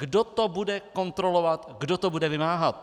Kdo to bude kontrolovat, kdo to bude vymáhat?